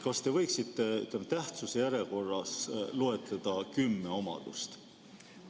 Kas te võiksite tähtsuse järjekorras loetleda kümme omadust?